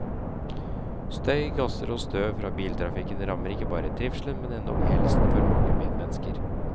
Støy, gasser og støv fra biltrafikken rammer ikke bare trivselen, men endog helsen for mange medmennesker.